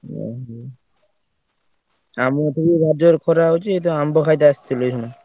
ଓହୋ ଆମ ଏପଟେ ବି ଭାରି ଜୋରେ ଖରା ହଉଛି। ଏଇତ ଆମ୍ବ ଖାଇତେ ଆସିଥିଲି ଏଇଖିଣା।